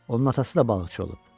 Onun atası da balıqçı olub.